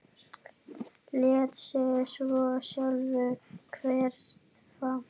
Lét sig svo sjálfur hverfa.